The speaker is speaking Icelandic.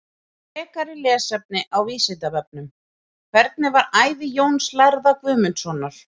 Frekara lesefni á Vísindavefnum: Hvernig var ævi Jóns lærða Guðmundssonar?